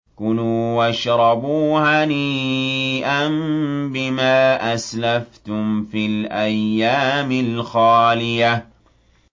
كُلُوا وَاشْرَبُوا هَنِيئًا بِمَا أَسْلَفْتُمْ فِي الْأَيَّامِ الْخَالِيَةِ